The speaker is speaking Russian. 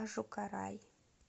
ожукарай